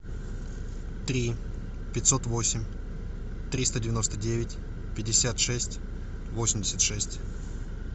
три пятьсот восемь триста девяносто девять пятьдесят шесть восемьдесят шесть